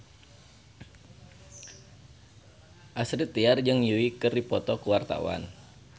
Astrid Tiar jeung Yui keur dipoto ku wartawan